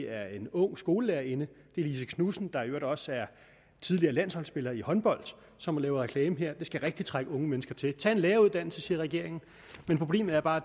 af en ung skolelærerinde lise knudsen der i øvrigt også er tidligere landsholdsspiller i håndbold som gør reklame her det skal rigtigt trække unge mennesker til tag en læreruddannelse siger regeringen problemet er bare